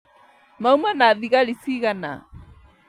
Mauma na thigari cigana?